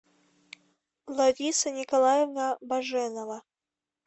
лариса николаевна боженова